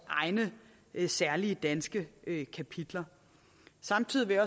egne særlige danske kapitler samtidig vil